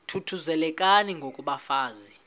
thuthuzelekani ngoko bafazana